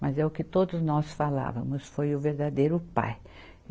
Mas é o que todos nós falávamos, foi o verdadeiro pai.